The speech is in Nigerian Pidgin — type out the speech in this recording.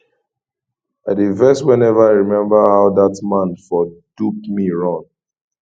i dey vex whenever i remember how dat man for dupe me run